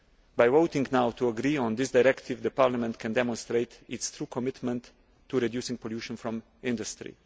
By voting now to agree on this directive, Parliament can demonstrate its true commitment to reducing pollution from industry.